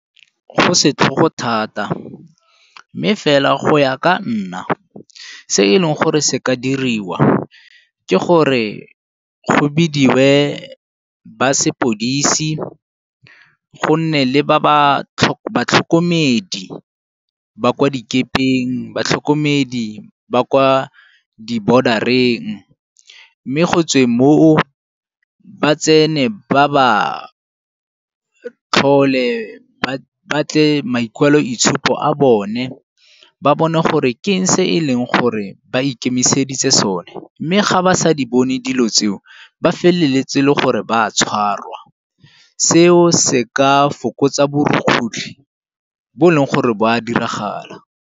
Go setlhogo thata mme fela go ya ka nna se e leng gore se ka diriwa ke gore go bidiwe ba sepodisi gonne le ba ba tlhokomedi ba ka dikepeng, batlhokomedi ba kwa di-boarder-reng mme go tsweng moo ba tsene ba ba tlhole ba batle maikwaloitshupo a bone, ba bone gore ke eng se e leng gore ba ikemiseditse sone. Mme ga ba sa di bone dilo tseo ba feleletse le gore ba tshwarwa seo se ka fokotsa borukgutlhi bo e leng gore bo a diragala.